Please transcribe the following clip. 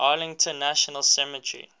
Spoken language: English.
arlington national cemetery